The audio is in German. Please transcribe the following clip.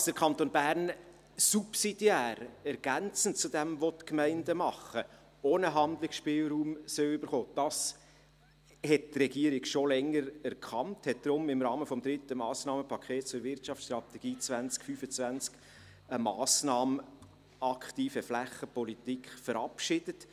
Dass der Kanton Bern subsidiär, ergänzend zu dem, was die Gemeinden tun, auch einen Handlungsspielraum erhalten soll, hat die Regierung schon länger erkannt und deshalb im Rahmen des dritten Massnahmenpakets zur Wirtschaftsstrategie 2025 eine Massnahme «Aktive Flächenpolitik» verabschiedet.